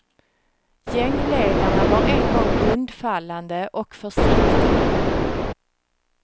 Gängledarna var en gång undfallande och försiktiga.